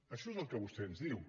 això és el que vostè ens diu